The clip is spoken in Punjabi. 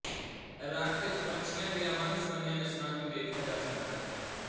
ਰੱਖ ਵਿੱਚ ਪੰਛੀਆਂ ਦੀਆਂ ਵੰਨਸੁਵੰਨੀਆਂ ਨਸਲਾਂ ਨੂੰ ਵੀ ਵੇਖਿਆ ਜਾ ਸਕਦਾ ਹੈ